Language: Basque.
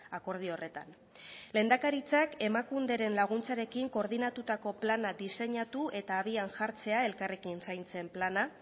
akordio horretan lehendakaritzak emakunderen laguntzarekin koordinatutako plana diseinatu eta abian jartzea elkarrekin zaintzen plana